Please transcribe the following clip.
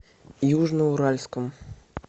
южноуральском